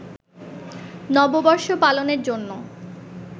নববর্ষ পালনের জন্য